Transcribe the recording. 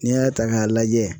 N'i y'a ta k'a lajɛ